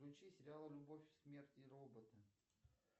включи сериал любовь смерть и роботы